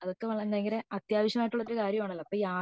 അതൊക്കെ വയങ്കര അത്യാവശ്യമായിട്ടുള്ള ഒരു കാര്യമാണല്ലോ